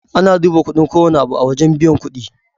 Ana duba kudin kowanne abu a wajan buyan kuɗi